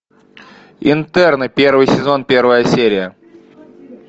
интерны первый сезон первая серия